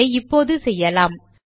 அதை இப்பொழுது செய்யலாம்